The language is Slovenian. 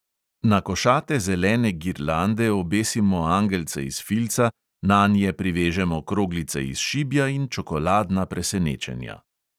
Na košate zelene girlande obesimo angelce iz filca, nanje privežemo kroglice iz šibja in čokoladna presenečenja.